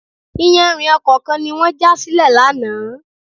Iyanrìn ọkọ̀ kan ni wọ́n já sílẹ̀ lánàá.